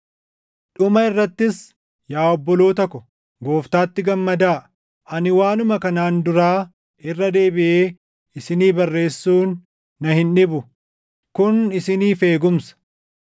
Dhuma irrattis yaa obboloota ko, Gooftaatti gammadaa! Ani waanuma kanaan duraa irra deebiʼee isinii barreessuun na hin dhibu; kun isiniif eegumsa.